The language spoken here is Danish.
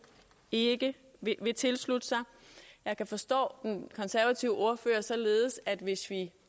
ikke vil tilslutte sig jeg kan forstå den konservative ordfører således at hvis vi